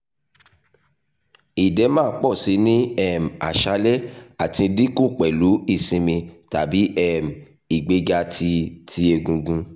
edema pọ si ni um aṣalẹ ati dinku pẹlu isinmi tabi um igbega ti ti egungun